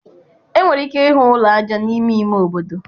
Enwere ike ịhụ ụlọ aja n'ime ime obodo.